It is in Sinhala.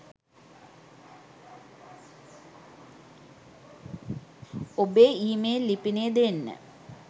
ඔබේ ඉ මේල් ලිපිනය දෙන්න